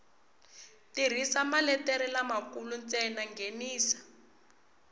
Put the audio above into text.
tirhisa maletere lamakulu ntsena nghenisa